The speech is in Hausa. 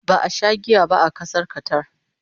ba a Sha giya ba a Ƙasar Qatar